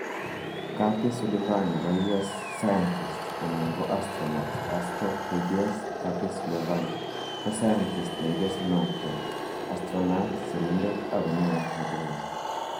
Kathy Sullivan nebo US Scientist/astronaut AstroKDS Kathy Sullivan ko scientist neigesunotke, astronaut, sirindet ako neo netelechin